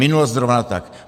Minulost zrovna tak.